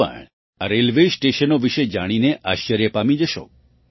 તમે પણ આ રેલવે સ્ટેશનો વિશે જાણીને આશ્ચર્ય પામી જશો